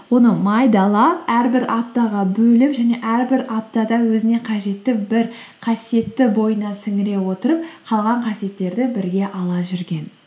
оны майдалап әрбір аптаға бөліп және әрбір аптада өзіне қажетті бір қасиетті бойына сіңіре отырып қалған қасиеттерді бірге ала жүрген